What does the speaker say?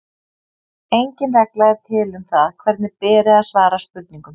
Engin regla er til um það hvernig beri að svara spurningum.